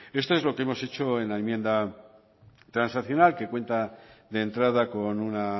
esto es lo que hemos hecho en la enmienda transaccional que cuenta de entrada con una